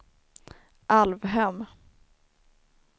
Alvhem